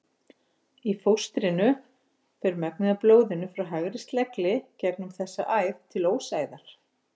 Í fóstrinu fer megnið af blóðinu frá hægri slegli gegnum þessa æð til ósæðar.